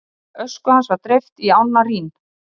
ösku hans var dreift í ána rín